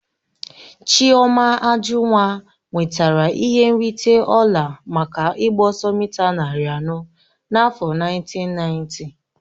Chioma Ajunwa nwetara ihe nrite ọla maka ịgba ọsọ mịta narị anọ n'afọ nineteen ninety.